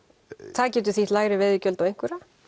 það getur þýtt lægri veiðigjöld á einhverja